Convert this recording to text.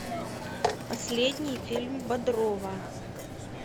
последний фильм бодрова